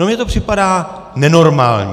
No mně to připadá nenormální.